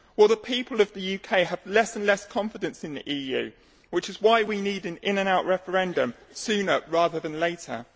Well, the people of the UK have less and less confidence in the EU, which is why we need an in or out referendum, sooner rather than later.